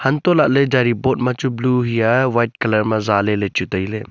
antoh lah ley jaji board ma chu blue hia White colour ma jaaley lechu tailey.